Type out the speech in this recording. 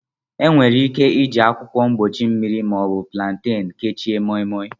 Enwere ike iji akwụkwọ mgbochi mmiri ma ọ bụ plantain kechie Moimoi.